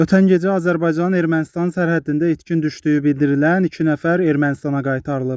Ötən gecə Azərbaycanın Ermənistan sərhədində itkin düşdüyü bildirilən iki nəfər Ermənistana qaytarılıb.